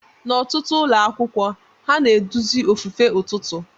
N'ọtụtụ ụlọ akwụkwọ, ha na-eduzi ofufe ụtụtụ.